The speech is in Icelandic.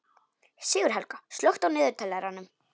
Sigurhelga, slökktu á niðurteljaranum.